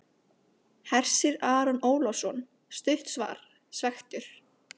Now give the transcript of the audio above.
Hersir Aron Ólafsson: Stutt svar, svekktur?